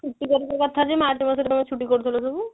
ଛୁଟି କରିବା କଥା ଯେ ମାର୍ଚ ମାସ ରେ ତମେ ଛୁଟି କରୁଥିଲ ସବୁ